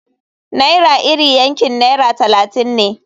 Naira iri yankin naira talatin ne.